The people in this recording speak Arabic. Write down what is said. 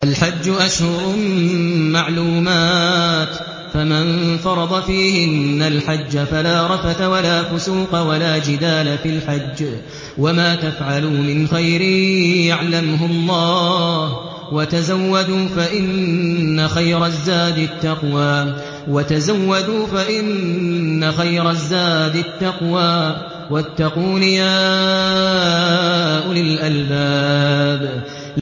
الْحَجُّ أَشْهُرٌ مَّعْلُومَاتٌ ۚ فَمَن فَرَضَ فِيهِنَّ الْحَجَّ فَلَا رَفَثَ وَلَا فُسُوقَ وَلَا جِدَالَ فِي الْحَجِّ ۗ وَمَا تَفْعَلُوا مِنْ خَيْرٍ يَعْلَمْهُ اللَّهُ ۗ وَتَزَوَّدُوا فَإِنَّ خَيْرَ الزَّادِ التَّقْوَىٰ ۚ وَاتَّقُونِ يَا أُولِي الْأَلْبَابِ